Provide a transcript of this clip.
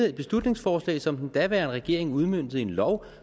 et beslutningsforslag som den daværende regering udmøntede i en lov og